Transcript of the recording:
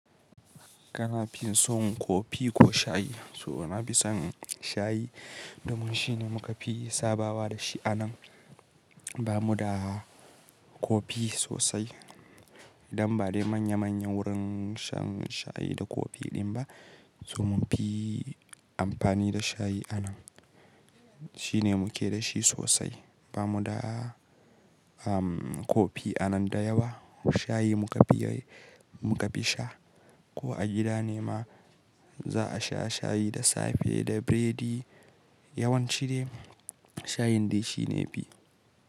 Kana fin son kofi ko shayi? So na fi son shayi, domin shine muka fi sabawa da shi anan. Ba mu da kofi sosai. Don ba dai manya manya wurin shan shayi da kofi din ba. So mun fi amfani da shayi anan. Shine muke da shi sosai. Ba mu da, um, kofi anan da yawa. Shayi muka fi, muka fi sha. Ko a gida ne ma, za a sha shayi da safe da biredi. Yawanci dai, shayin dai shine yafi.